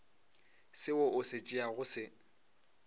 seo o se tšeago se